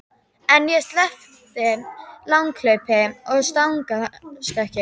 En ég sleppti langhlaupum og stangarstökki.